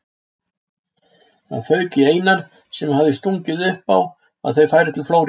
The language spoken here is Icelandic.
Það fauk í Einar sem hafði stungið upp á að þau færu til Flórída.